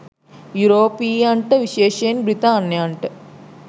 යුරෝපීයන්ට විශේෂයෙන් බ්‍රිතාන්යන්ට